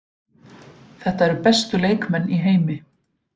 Þetta eru bestu leikmenn í heimi.